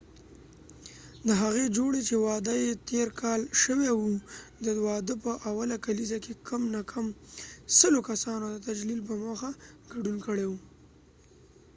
د هغې جوړی چې واده یې تیر کال شوي وه د واده په اوله کالیزه کې کم نه کم سلو کسانو د تجلیل په موخه ګډون کړي و